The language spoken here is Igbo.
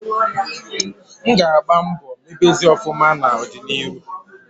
M ga agba mbo mebezie ofuma na odi na iru